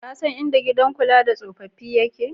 Ka san inda gidan kula da tsofaffi yake?